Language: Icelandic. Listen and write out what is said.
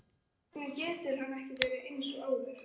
Hvers vegna getur hann ekki verið eins og áður?